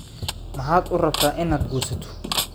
Maxaad u rabtaa inaad guursato?